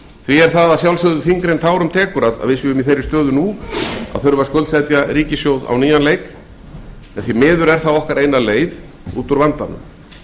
það er því þyngra en tárum tekur að við séum í þeirri stöðu að þurfa að skuldsetja ríkissjóð á ný en það er því miður okkar eina leið út úr vandanum